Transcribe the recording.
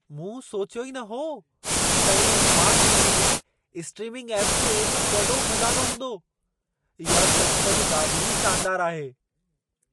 मूं सोचियो ई न हो त इन स्मार्ट टी.वी. में स्ट्रीमिंग ऐप्स जो एॾो वॾो ख़ज़ानो हूंदो। इहा सचुपचु ॾाढी शानदार आहे।